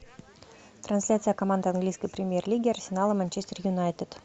трансляция команд английской премьер лиги арсенал и манчестер юнайтед